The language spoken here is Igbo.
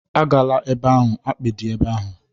Agala ebe ahụ! akpị dị ebe ahụ